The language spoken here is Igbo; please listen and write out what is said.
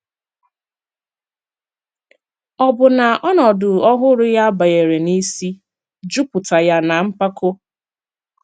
Ọ̀ bụ na ọnọdụ ọhụrụ ya banyere n’isi, jùpùtà ya na mpàkò?